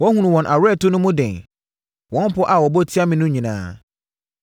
Woahunu wɔn aweretɔ no mu den, wɔn pɔ a wɔbɔ tia me no nyinaa.